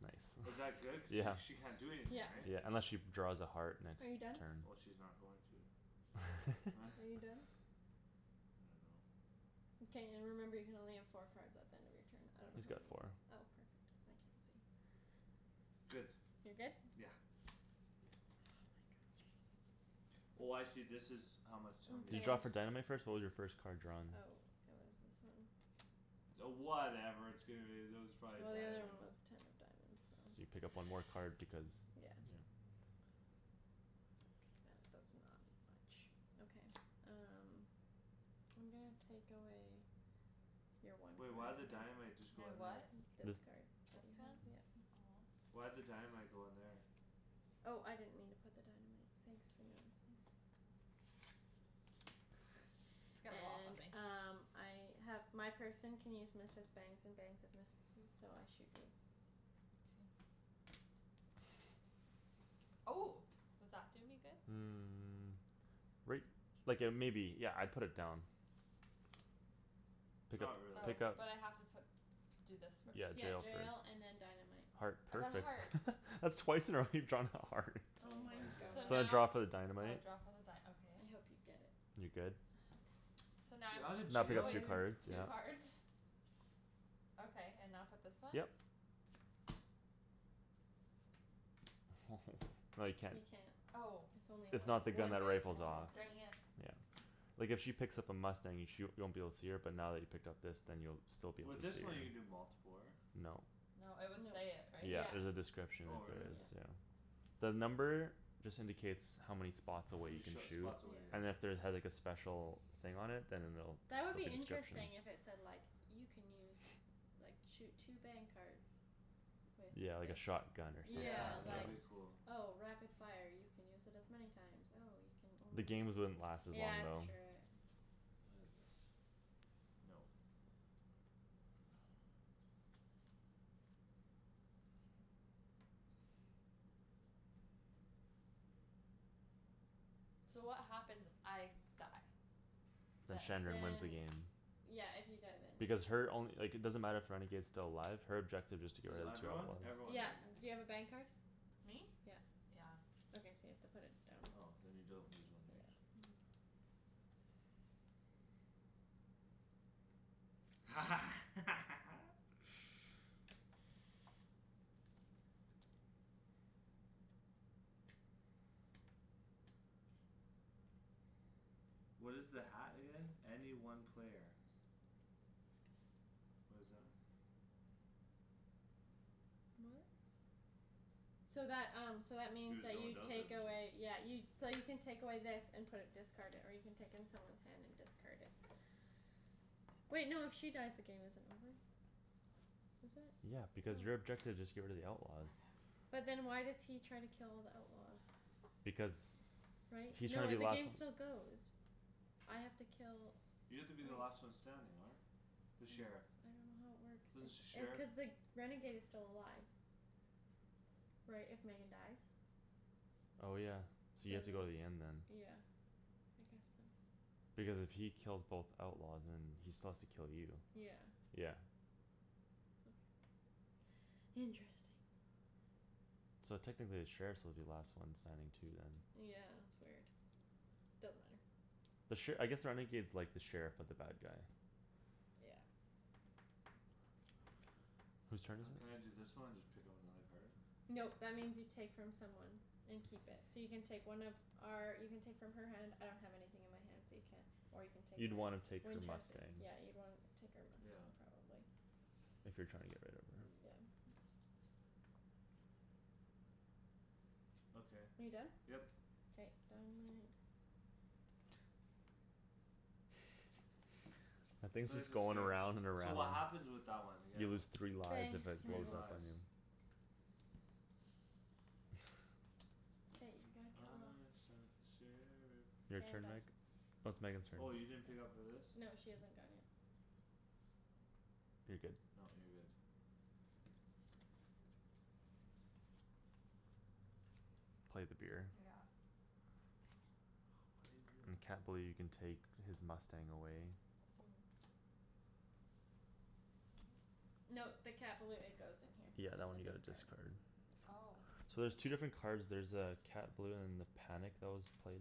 Nice. Is that good, cuz sh- she can't do Yeah. anything, Yeah. right? Yeah, unless she draws a heart next Are you done? turn. Well, she's not going to. Are you done? I dunno. Mkay. Remember you can only have four cards at the end of your turn. I don't know He's how got many you, four. oh, perfect. I can't see. Good. You're good? Yeah. Oh my gosh. Oh, I see, this is how much how many You Okay. draw cards. for dynamite first? What was your first card drawn? Oh, it was this one. Oh, whatever, that was probably Well, the other one dynamite. was ten of diamonds, So you so. pick up one more card because, Yeah. yeah. That does not much. Okay, um. I'm gonna take away Your one Wait, why'd the dynamite just My go in there? what? This This card. This You have, one? yep. Aw. Why'd the dynamite go in there? Oh, I didn't mean to put the dynamite. Thanks for noticing. It's gonna go off on And me. um, I have My person can use missed as bangs and bangs as missed-esses, so I shoot you. K. Oh. Does that do me good? Mm, right, like uh maybe. Yeah, I'd put it down. Pick Not up, Oh, really. pick up. but I have to put Do this Mm, first. Yeah, jail yeah first. and then dynamite. Heart, I got perfect. heart. That's twice in a row you've drawn a heart. Oh Oh my my So goodness. gosh. So I draw now for the Oh, dynamite. draw for the dy- okay. I hope you get it. You good? Ah, damn it. So now You're outta Now pick jail if, up two wait, already? cards, yeah. two Poop. cards? Okay, and now put this one? Yep. No, you can't. You can't. Oh. It's only It's one, not the gun one that bang per rifles Aw, off. turn, dang yeah. it. Yeah. Like if she picks up a mustang, you sh- you won't be able to see her, but now that he picked up this then you'll still be able to With this see her. one, you can do multipler. No. No, it would No. say it, right? Yeah, Yeah. there's a description Oh, if there really? is, Yep. Okay. yeah. The number just indicates how many H- spots how away you many can sh- shoot. spots away, Yeah. And if yeah. there had like a special thing on it, then it'll, That would like be a description. interesting, if it said like You can use, like, shoot two bang cards With Yeah, like a this. shotgun or something, Yeah, Yeah, that like, would be yeah. cool. oh, rapid fire, you can use it as many times. Oh, you can The only games wouldn't last as long, Yeah, it's though. true, it What is this? Nope. So what happens if I die? Then Then Shandryn wins the Then game. Yeah, if you die then. Because her only, like, it doesn't matter if renegade's still alive, her objective is to get Cuz rid of two everyone? outlaws. Everyone, Yeah, right? do you have a bang card? Me? Yeah. Yeah. Okay, so you have to put it down. Oh, then you don't lose one these. No. What is the hat again? Any one player. What is that? What? So that, um, so that means Your you take away, yeah, you So you can take away this and put it discarded, or you can take in someone's hand and discard it. Wait, no, if she dies, the game isn't over. Is it? Yeah, because your Oh. objective is just get rid of the outlaws. I'm having But then troubles. why does he try to kill all the outlaws? Because Right? He's No, trying to it, be the last game still goes. I have to kill You have to be the last one standing, right? I'm The sheriff. s- I don't know how it works, This the sh- if uh sheriff? cuz the renegade is still alive. Right, if Megan dies? Oh, yeah, so you have Same, to go to the end then. yeah. I guess so. Because if he kills both outlaws, then he still has to kill you. Yeah. Yeah. Okay. Interesting. So technically the sheriffs will be the last one standing too, then. Yeah, it's weird. Doesn't matter. The sher- I guess the renegade's like the sheriff, but the bad guy. Yeah. Whose turn is Can I it? do this one and just pick up another card? Nope, that means you take from someone. And keep it. So you can take one of our, you can take from her hand, I don't have anything in my hand so you can't. Or you can take You'd my wanna take her Winchester, mustang. yeah, you'd wanna take our Yeah. mustang probably. If you're trying to get rid of her. Mm, yeah. Okay. Are you done? Yep. K, dynamite. That thing's just is going scared. around and So around. what happens with that one again? You lose three lives Bang, if it Three blows Megan. up on lives. you. Hey, we gotta kill her off. I shot the sheriff. Your K, I'm turn, done. Meg? No, it's Megan's turn. Oh, you didn't pick up for this? No, she hasn't gone yet. You're good. No, you're good. Play the beer. Yeah. Dang it. Why you do And Cat that? Balou, you can take his mustang away. Ooh. Yes, please. No, the Cat Balou, it goes in here. Yeah, that In one the you gotta discard. discard. Oh. So there's two different Yeah. cards, there's uh Cat Balou and the panic that was played.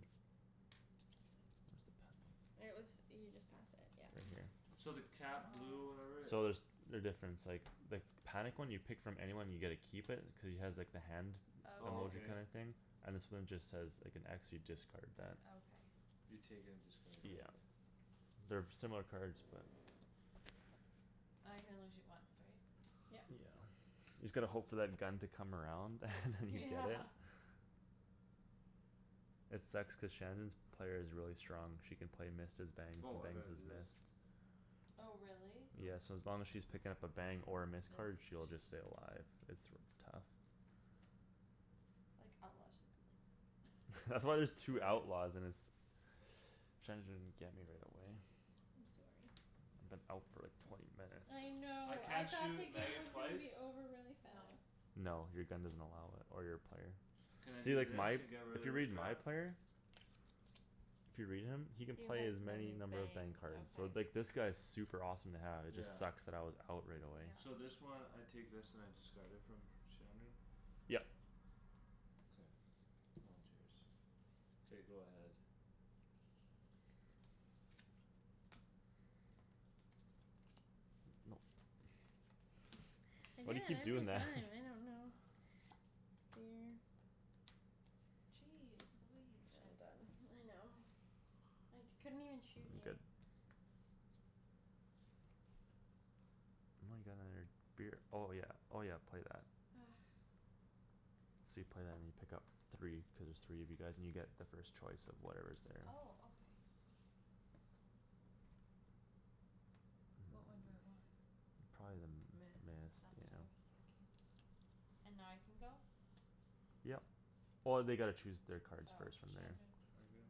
Where's the panic? It was, you just passed it, yeah. Right here. So the cat blue Oh. or whatever So there's, they're different; it's like the panic one, you pick from anyone and you get to keep it, cuz he has like the hand Oh, emoji okay. kinda Okay. thing? And this one just says, like, an x, you discard What? that. Okay. You take it and discard it, yeah Yeah. okay. They're similar cards, but. I can only shoot once, right? Yeah. Yep. You just gotta hope for that gun to come around and then you Yeah. get it. It sucks cuz Shandryn's player is really strong, she can play missed as bangs and Woah, I bangs gotta as do this. missed. Oh, really? Yeah, Mm. so as long as she's picking up a bang or a Mm. missed card, Miss. she'll just stay alive. It's r- tough. Like, outlaw should be like That's that. why there's two Bang. outlaws and it's, Shandryn get me right away. I'm sorry. I've been out for like, twenty I minutes. I know, I can't thought the shoot game Megan was gonna twice? be over really No. fast. No, your gun doesn't allow it. Or your player. Can I See, do like, this my, and get if rid you of this read my crap? player If you read him, he can You play has as many many number of bang bangs. cards, so, Okay. like, this guy's super awesome to have; it Yeah. just sucks that I was out right away. Yeah. So this one, I take this and I discard it from Shandryn? Yep. K. Now it's yours. K, go ahead. Nope. I do Why do you that keep every doing that? time, I don't know. Weird. Jeez, believe, I'm Shandryn. done. I know. I t- couldn't even shoot Y- you. good. And I got another beer, oh yeah, oh yeah, play that. Argh. So you play that and you pick up three, cuz there's three of you guys and you get the first choice of whatever's there. Oh, okay. What one do I want? Probably the Miss, missed, that's yeah. what I was thinking. And now I can go? Yep. Oh, they gotta choose their cards Oh. first from there. Shandryn. Target.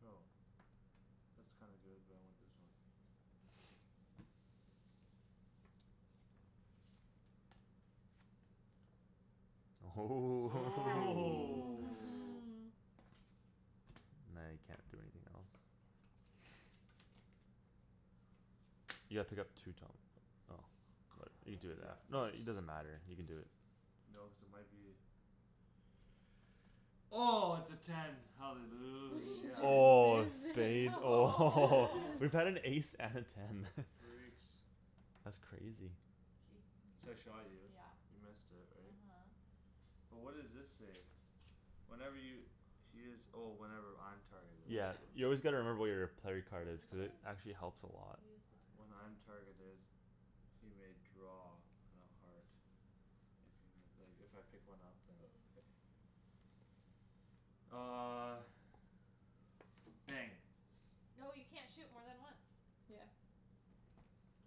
Go. That's kinda good but I want this one. Ooh Yes. Oh! Now you can't do anything else. You gotta pick up two, Tom, oh. Good, Crap, I you have to do do that that. No, first. it, it doesn't matter; you can do it. No, cuz it might be Oh, it's a ten, We hallelujah. Oh, a just missed it! spade? Oh. Woah! We've had an ace and a ten. Freaks. That's crazy. So K, I shot you, yeah, you missed it, right? uh-huh. But what does this say? Whenever y- he is, oh, whenever I'm targeted. Yeah, Yeah. you always gotta remember what your player What card is, is cuz it yours? actually helps a lot. He is When I'm a target of targeted He may draw on a heart. If you mi- like, if I pick one up, then. Okay. Uh Bang. No, you can't shoot more than once. Yeah.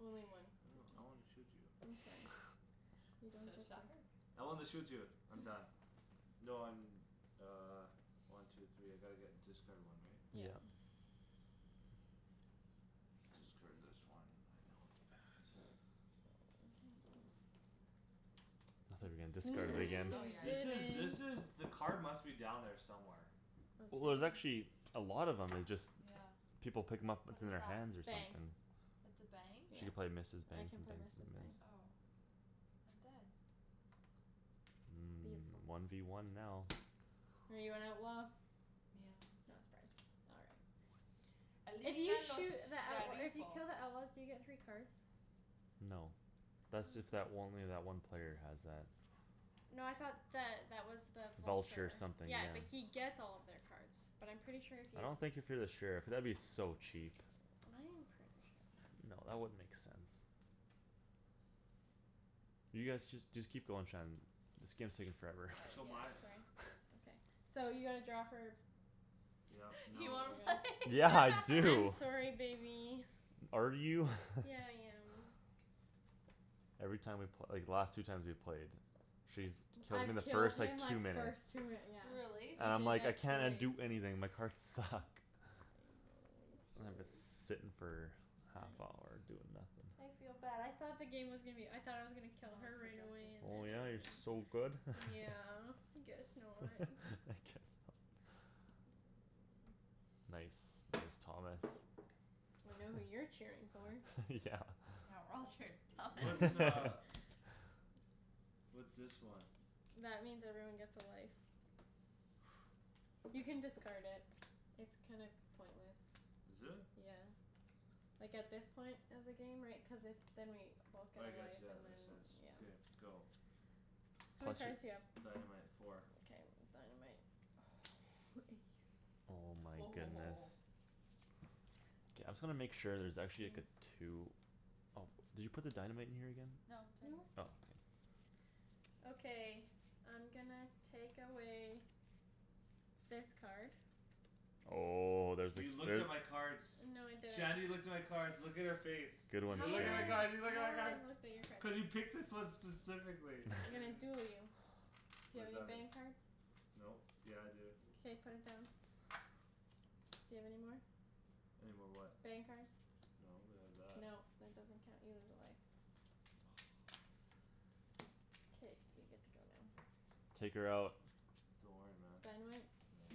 Only one I per don't, I wanna turn. shoot you. I'm sorry. You don't So, get to. shot her. I wanna shoot you. I'm done. No, I'm uh, one, two, three, I gotta get, discard one, right? Yeah. Yeah. Discard this one, I know it's bad. I thought you were gonna discard it again. Oh, yeah, This is, this is, Didn't! yeah the card must be down there somewhere. Well, there's Okay. actually a lot of 'em, it's just Yeah. people pick 'em up, What it's in is their that? hands or Bang. something. It's a bang? She can Yeah. play missed as I bangs can and play bangs missed as as bangs. missed. Oh. I'm dead. Mm, Beautiful. one v one now. Are you an outlaw? Yeah. Not surprised. All right. If you los shoot the outlaw, if you sheriffo. kill the outlaws, do you get three cards? No. How Thats is if that w- it? only that one player has that. No, I thought that that was the Vulture vulture. something, Yeah, yeah. but he gets all of their cards. But I'm pretty sure if I you don't think if you're the sheriff, that would be so cheap. I am pretty sure. No, that wouldn't make sense. You guys, just, just keep going, Shan. This game's taking forever. Oh, So yeah, my sorry, okay. So you gotta draw for? Yep, You No, nope. wanna play? right? Yeah. I I'm do! sorry, baby. Are you? Yeah, I am. Every time we pl- like, the last two times we played She's t- kills me in I've the killed first, like, him two like minutes. first two yeah. Really? And I I'm did like, "I that cannot twice. do anything; my cards suck." I know, I'm sorry. sittin' for half I hour, doing I nothing. feel bad; I thought the game was gonna be o- I thought I was gonna kill her for right away dresses. and then Oh, I yeah, you're was so g- good? Yeah, guess not. I guess not. Nice. Nice, Thomas. I know who you're cheering for. Yeah. Yeah, we're all cheering for Thomas. What's uh What's this one? That means everyone gets a life. You can discard it. It's kind of pointless. Is it? Yeah. Like, at this point of the game, right, cuz if Then we both get I a guess, life yeah, that and then, makes sense. yeah. Beer, go. How many Plus cards do you your have? Dynamite, four. Mkay, dynamite. Oh, ace. Oh my goodness. Woah. K, I'm just gonna make sure there's actually, like, a two. Oh, did you put the dynamite in here again? No, it's right No. Oh, k. here. Okay, I'm gonna take away this card. Oh, there's a You cl- looked there at my cards. No, I didn't. Shandryn looked at my cards; look at her face. Good one, You How look would at I, my card, Shan. you look how at my would I have cards! looked at your cards? Cuz you picked this one specifically I'm gonna duel you. Do What you have does any that mean? bang cards? Nope. Yeah I do K, put it down. Do you have any more? Any more what? Bang cards. No, but I have that. No, that doesn't count; you lose a life. K, you get to go now. Take her out. Don't worry, man. Dynamite? No.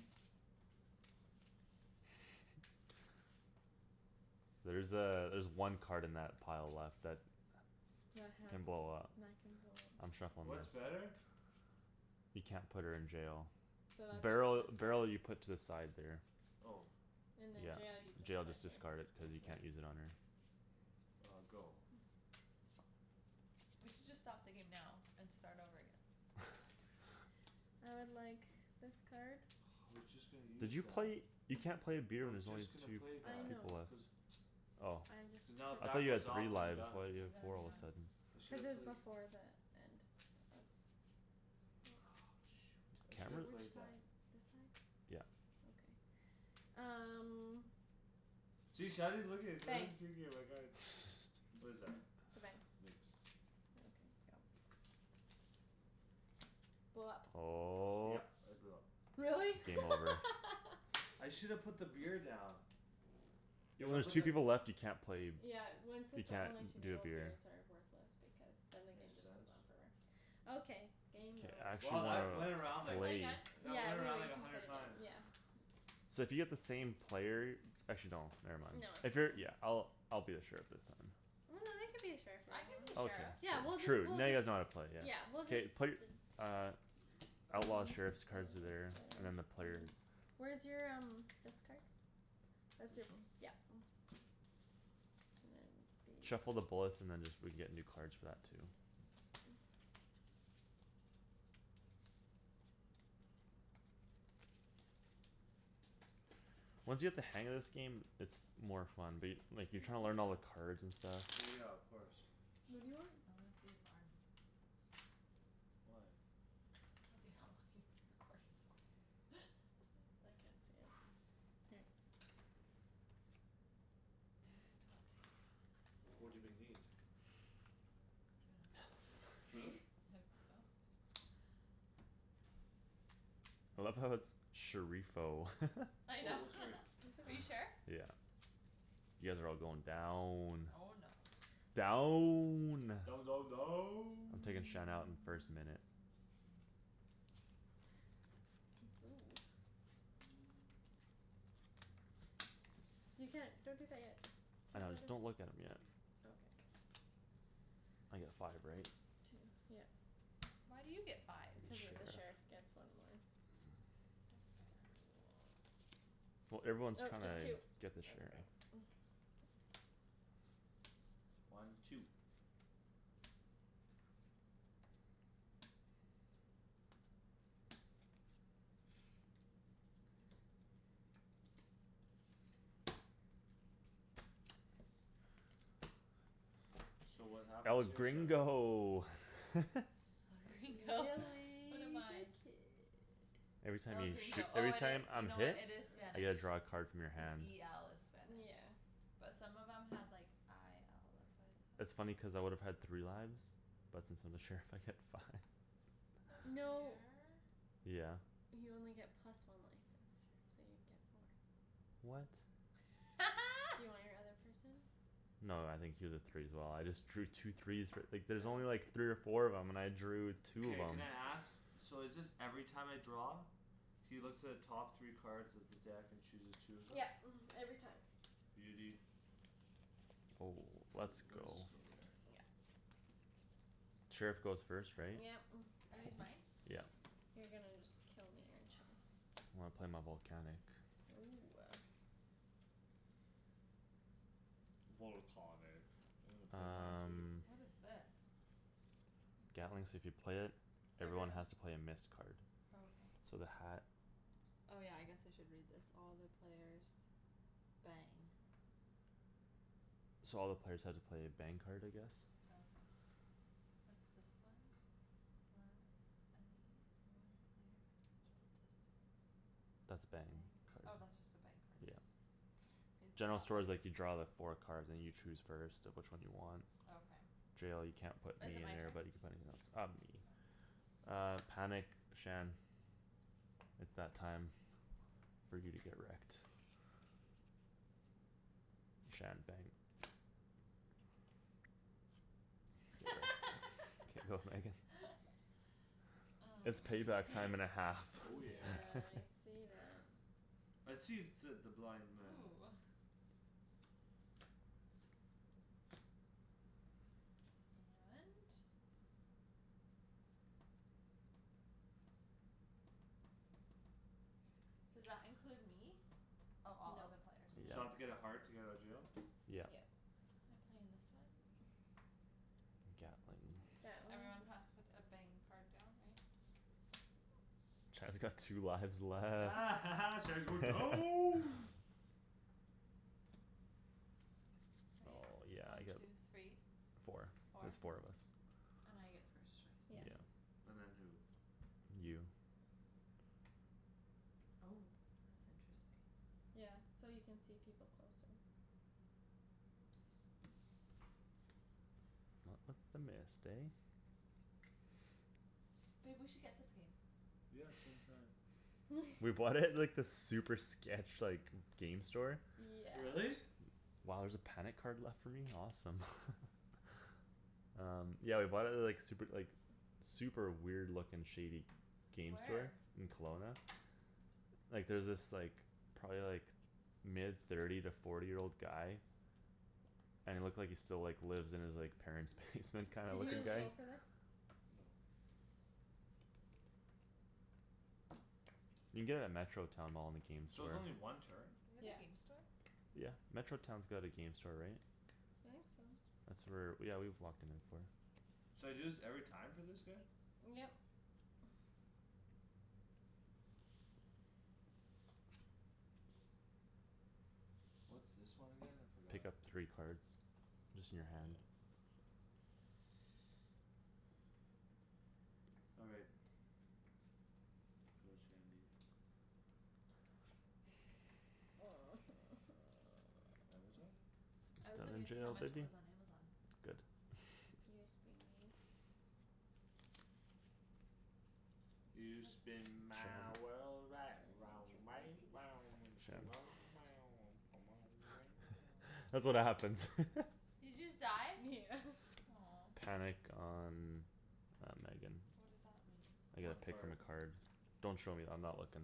There's uh, there's one card in that pile left that That has can d- blow up. that can blow I'm up. shuffling What's this. better? You can't put her in jail. So that's Barrel, just discard. barrel, you put to the side there. Oh. And then jail you Yeah. just Jail, put just here. discard it, cuz you Okay. can't use it on her. Uh, go. We should just stop the game now and start over again. I would like this card. I was just gonna Did use you that. play? You can't play a beer I when was there's only just gonna two play I that. know. people left. Cuz Oh. I just Cuz now if I that thought took you had goes three off, then I'm lives, done. why do you You're have done, four all of yeah. a Mm. sudden? I should Cuz it have was played before the end of I shoulda Which played that. side, this side? Yeah. Okay. Um See, Shandryn's looking, Bang. Shandryn's peeking at my cards. What is that? It's a bang. Mixed. Okay, go. Blow up. Oh. Yep, I blew up. Really? Game Yeah. over. I shoulda put the beer down. Yeah, If when I there's just two people left, you can't play b- Yeah, when, since You there can't only two d- do a people, beer. beers are worthless because then the game Makes just sense. on forever. Okay, K, game I over. actually Wow, wanna that went around, Can we like, play play. again? that Yeah, went around, we'll, we like, a can play hundred again, times. yeah. So if you get the same player Actually no, never mind. No, it's If you're, yeah, fine. I'll, I'll be the sheriff this time. Well, no, they could be a sheriff I could be a Okay. sheriff. Yeah, we'll just, Sure, true. we'll Now you just guys know how to play, yeah. Yeah, we'll just K, play, d- uh Outlaws, sheriffs cards there, and then the player Where's your um, this card? That's This your, one? yeah. And then Shuffle the these. bullets and then just, we get new cards for that too. Once you get the hang of this game, it's more fun. But y- like, you're trying to learn all the cards and stuff. Well, yeah, of course. What do you want? I wanna see his arm. Why? To see how long you've been recording for. I can't see it here. Two twenty. What do they need? Two Really? and a half. I love how it's "sheriffo." I Wait, know. what's her? It's Are you okay. sheriff? Yeah. You guys are all going down. Oh, no. Down! Down, down, I'm down. taking Shan out in the first minute. Ooh. You can't, don't drink that yet. I Cuz know, what if don't look at 'em yet. Okay. I get five, right? Two, yep. Why do you get five? The Cuz the sheriff sheriff. gets one more. No fair. Well, everyone's Oh, trying just two. to get the That's sheriff. better. One, two. So what happens El here? Sorry. gringo! El Gringo. What Willy am the I? kid. Every time El you shoo- Gringo, oh every it time i- you I'm know what, hit it is I Yeah. Spanish. get to draw a card from your Cuz hand. e l is spanish. Yeah. But some of them had, like, i l, That's that's why I thought funny cuz I would have had three lives. But since I'm the sheriff, I get five. No No. fair. Yeah. You only get plus one life as a sheriff, so you get four. What? Do you want your other person? No, I think he was a three as well; I just drew two threes f- like, there's only like Oh. three or four of 'em and I drew two of Mkay, 'em. can I ask? So is this every time I draw? He looks at the top three cards of the deck and chooses two of them? Yep, mhm, every time. Beauty. Oh, How is let's it, where does go. this go there? Yep. Sheriff goes first, right? Yep. Are these mine? Yeah. You're gonna just kill me, aren't you? When I play my volcanic. Ooh. Volcahnic. I wanna play mine too. Um What is this? Gatling, so if you play it, everyone Everyone. has to play a missed card. Okay. So the hat Oh, yeah, I guess I should read this. All the players bang. So all the players have to play a bang card, I guess? Okay. What's this one? any one player of reachable distance. That's a bang Bang. Oh, card. that's just a bang card. Yeah. General store's like, you draw the four cards and you choose first of which one you want. Okay. Jail, you can't put me Is it in my there turn? but you can put anything else. Uh, me. Okay. Uh, panic, Shan. It's that time For you to get wrecked. Shan, bang. Get wrecked. K, go, Megan. It's Mm. payback time and a half. Oh, yeah. Yeah, I see that. I sees, said the blind man. Ooh. And Does that include me? Oh, all other Nope. players, So I have to Yeah. no. get a heart to get out of jail? Yeah. Yep. I'm playing this one. Gatling. Gatling. Everyone has to put a bang card down, right? Shan's got two lives left. Shan's going down. Right? Oh, yeah, I One, get two, three. Four. Four. There's four of us. And I get first choice, Yep. Yeah. right? And then who? You. Oh. That's interesting. Yeah. So you can see people closer. Not with the missed, eh? Babe, we should get this game. Yeah, some time. We bought it at, like, this super sketch, like, g- game store. Yeah. Really? Wow, there's a panic card left for me? Awesome. Um, yeah, we bought it at the, like, super, like, super weird looking shady game store. Where? In Kelowna. Oops. Like, there was this, like, probably like mid thirty to forty year old guy And it looked like he still, like, lives in his, like, parents' basement kinda Did looking you guy. go Really? for this? No. You can get it at Metro Town mall in the game So it's store. only one turn? They have a Yeah. game store? Yeah. Metro Town's got a game store, right? I think so. That's where, yeah, we've walked in there before. So I do this every time for this guy? Yep. What's this one again? I forgot. Pick up three cards. Just in Yeah, your hand. that's All right. Go Shandie. Amazon? I It's was not in looking to see how jail, much it biggie. was on Amazon. Good. Yes, be mean. You spin my Shandryn. world right round, I want right to round, when Shan That's what happens. Did you just die? Yeah. Aw. Panic on, uh, Megan. What does that mean? I get One to pick from card. a card. Don't show me; I'm not looking.